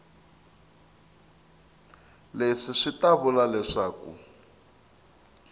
leswi swi ta vula leswaku